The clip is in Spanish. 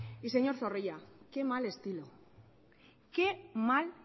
y señor zorrilla qué mal estilo qué mal